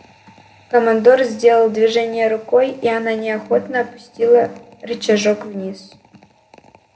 командор сделал движение рукой и она неохотно опустила рычажок вниз